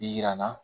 Yira na